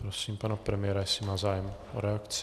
Prosím pana premiéra, jestli má zájem o reakci.